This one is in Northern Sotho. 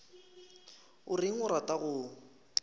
o reng a rata go